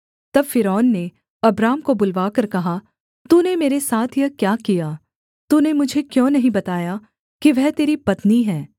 तब फ़िरौन ने अब्राम को बुलवाकर कहा तूने मेरे साथ यह क्या किया तूने मुझे क्यों नहीं बताया कि वह तेरी पत्नी है